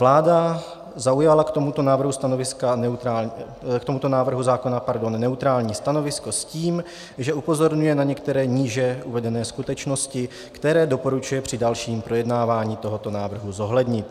Vláda zaujala k tomuto návrhu zákona neutrální stanovisko s tím, že upozorňuje na některé níže uvedené skutečnosti, které doporučuje při dalším projednávání tohoto návrhu zohlednit.